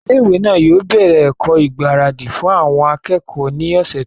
ilé ìwé náà yóò bẹ̀rẹ̀ ẹ̀kọ́ ìgbáradì fún àwọn akẹ́kọ̀ọ́ ní ọ̀sẹ̀ tó ń bọ̀